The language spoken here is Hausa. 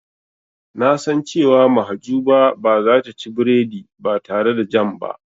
Na san cewa Mahjuba ba zata ci biredi ba tare da jam ba.